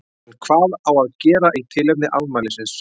En hvað á að gera í tilefni afmælisins?